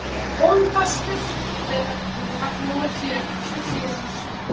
Hólmfastur, hvenær kemur vagn númer fjörutíu og fjögur?